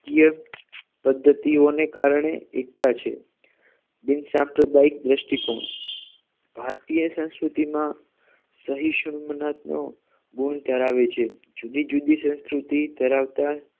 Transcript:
કીય પદ્ધતિઓને કારણે એકતા છે બિનસાંપ્રદાયિક દ્રષ્ટિકોણ ભારતીય સંસ્કૃતિમાં સહિશુમ્નાથ નો ગુણ ધરાવે છે જુદી જુદી સંસ્કૃતિ ધરાવતા